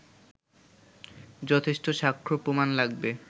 যথেষ্ট সাক্ষ্য প্রমাণ লাগবে